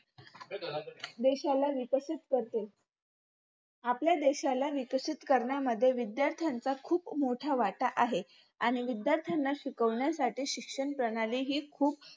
देशाला विकसित करते आपल्या देशाला विकसित करण्यामध्ये विध्यार्थांनाच खूप मोठा वाटा आहे आणि विध्यार्थांना शिकवण्यासाठी शिक्षणप्रणाली ही खुप